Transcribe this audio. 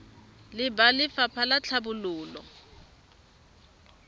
le ba lefapha la tlhabololo